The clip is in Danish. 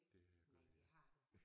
Det har jeg gjort